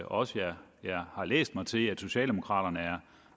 også at jeg har læst mig til at socialdemokraterne